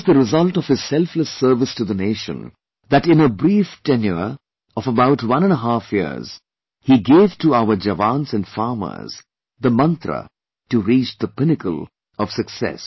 It was the result of his selfless service to the nation that in a brief tenure of about one and a half years he gave to our jawans and farmers the mantra to reach the pinnacle of success